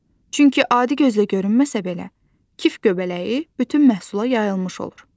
Çünki adi gözlə görünməsə belə, kif göbələyi bütün məhsula yayılmış olur.